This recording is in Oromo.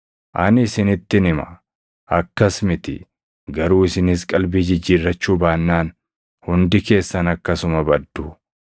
Ani isinittin hima; akkas miti. Garuu isinis qalbii jijjiirrachuu baannaan, hundi keessan akkasuma baddu.”